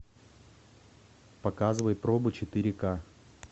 показывай пробы четыре ка